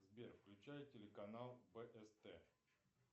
сбер включай телеканал бст